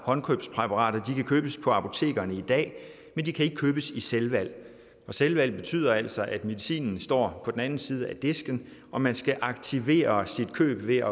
håndkøbspræparater kan købes på apotekerne i dag men de kan ikke købes i selvvalg selvvalg betyder altså at medicinen står på den anden side af disken og man skal aktivere sit køb ved